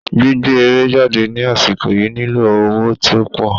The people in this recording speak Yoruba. Gbígbé eré jáde ní àsìkò yìí nílò owó tí ópò